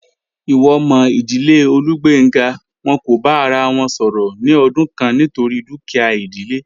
Iwo mo idile Olugbenga, won ko ba ara won soro ni odun kan nitori dukia idile.